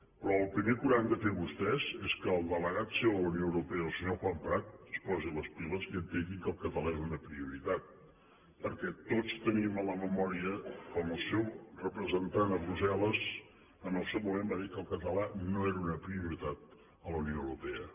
però el primer que hauran de fer vostès és que el delegat seu a la unió europea el senyor juan prat es posi les piles i entengui que el català és una prioritat perquè tots tenim a la memòria com el seu representant a brussel·les en el seu moment va dir que el català no era una prioritat a la unió europea